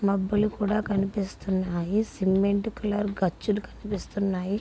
మబ్బులు కూడా కనిపిస్తున్నాయి. సిమెంట్ కలర్ గచ్చులు కనిపిస్తున్నాయి.